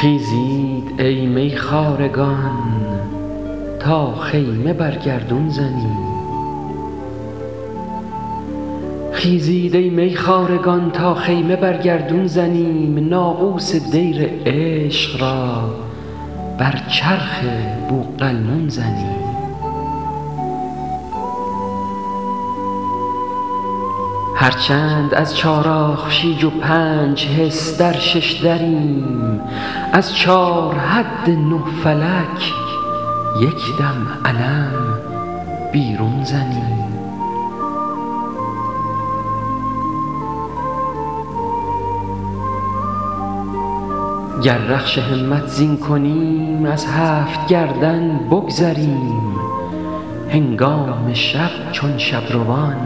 خیزید ای میخوارگان تا خیمه بر گردون زنیم ناقوس دیر عشق را بر چرخ بوقلمون زنیم هر چند از چار آخشیج و پنج حس در شش دریم از چار حد نه فلک یکدم علم بیرون زنیم گر رخش همت زین کنیم از هفت گردون بگذریم هنگام شب چون شبروان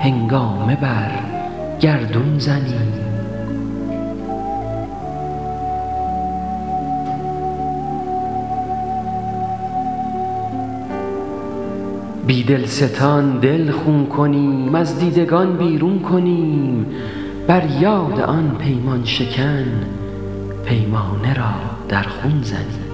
هنگامه بر گردون زنیم بی دلستان دل خون کنیم وز دیدگان بیرون کنیم بر یاد آن پیمان شکن پیمانه را در خون زنیم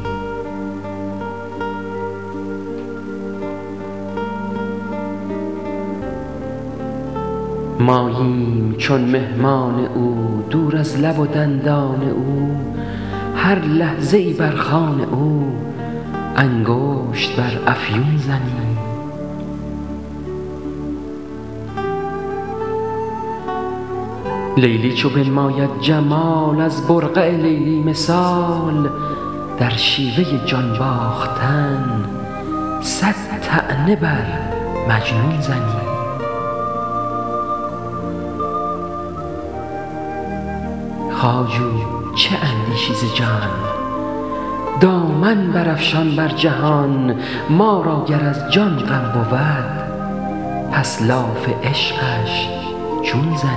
ماییم چون مهمان او دور از لب و دندان او هر لحظه یی بر خوان او انگشت بر افیون زنیم لیلی چو بنماید جمال از برقع لیلی مثال در شیوه ی جان باختن صد طعنه بر مجنون زنیم خواجو چه اندیشی ز جان دامن بر افشان بر جهان ما را گر از جان غم بود پس لاف عشقش چون زنیم